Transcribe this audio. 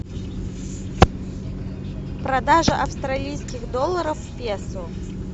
продажа австралийских долларов в песо